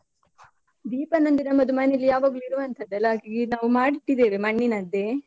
ದೀಪ ನಂದು ನಮ್ಮದು ಮನೆಯಲ್ಲಿ ಯಾವಾಗ್ಲು ಇರುವಂತದ್ದಲ್ಲಾ, ಹಾಗಾಗಿ ನಾವು ಮಾಡಿಟ್ಟಿದ್ದೇವೆ ಮಣ್ಣಿನದ್ದೆ.